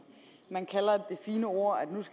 man kalder det et fint ord at